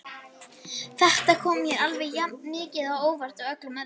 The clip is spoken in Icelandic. Þetta kom mér alveg jafn mikið á óvart og öllum öðrum.